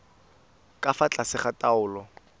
ka fa tlase ga taolo